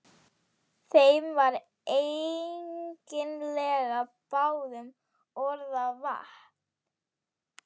Þeim var eiginlega báðum orða vant.